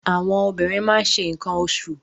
Àwọn obìnrin máa ń ṣe nǹkan oṣù.